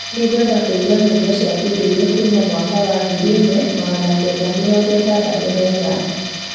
Nĩngwenda kũigua nyĩmbo cia kĩndũire kuuma mwaka wa ngiri ĩmwe magana kenda mĩrongo ĩtandatũ na inyanya